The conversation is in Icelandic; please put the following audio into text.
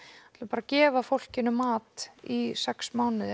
gefa fólki mat í sex mánuði